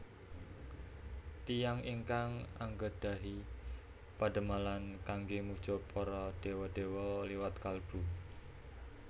Tiyang ingkang anggadhahi padamelan kangge muja para dewa dewa liwat kalbu